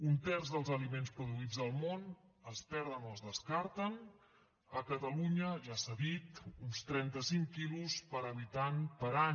un terç dels aliments produïts al món es perden o es descarten a catalunya ja s’ha dit uns trentacinc quilos per habitant per any